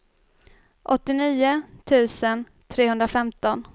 åttionio tusen trehundrafemton